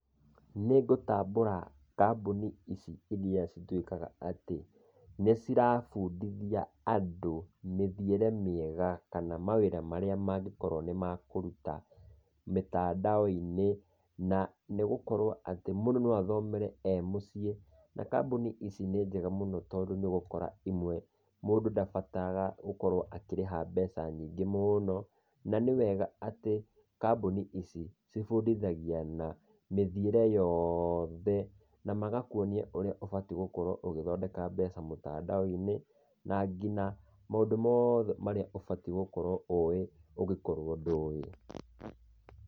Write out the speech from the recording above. Nĩ ngũtambũra kambuni ici iria cituĩkaga atĩ nĩ cira bundithia andũ mĩthiĩre mĩega, kana ma wĩra marĩa mangĩkorwo nĩ makũruta mĩtandao-inĩ na nĩ gũkorwo atĩ mũndũ no athomere e mũciĩ. Na kambuni ici nĩ njega mũno tondũ nĩ ũgũkora imwe mũndũ ndabataraga gũkorwo akarĩha mbeca nyingĩ mũno, na nĩ wega atĩ kambuni ici cibundithagia na mĩthiĩre yothe na magakwonia ũrĩa ũbatie gũkorwo ũgĩthondeka mbeca mĩtandao-inĩ na nginya maũndũ mothe marĩa ũbatie gũkorwo ũĩ ũngĩkorwo ndũĩ.